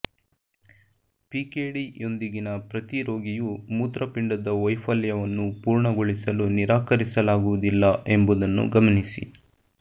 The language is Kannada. ಪಿಕೆಡಿ ಯೊಂದಿಗಿನ ಪ್ರತಿ ರೋಗಿಯೂ ಮೂತ್ರಪಿಂಡದ ವೈಫಲ್ಯವನ್ನು ಪೂರ್ಣಗೊಳಿಸಲು ನಿರಾಕರಿಸಲಾಗುವುದಿಲ್ಲ ಎಂಬುದನ್ನು ಗಮನಿಸಿ